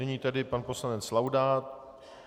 Nyní tedy pan poslanec Laudát.